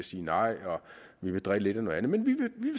sige nej og drille lidt og man vil